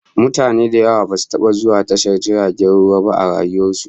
Mutane da yawa basu taba zuwa tashar jirgin ruwa ba a rayuwar su